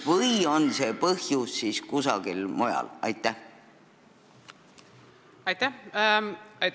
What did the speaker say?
Või on see põhjus kusagil mujal?